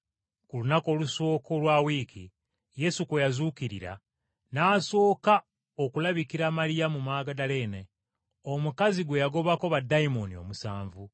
Ku lunaku olusooka olwa wiiki, Yesu kwe yazuukirira, n’asooka okulabikira Maliyamu Magudaleene, omukazi gwe yagobako baddayimooni omusanvu.